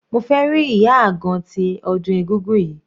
Mo fẹ́ rí ìyá àgan tí ọdún egúngún yìí.